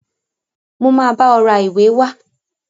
Mo máa bá ọ ra ìwé wá.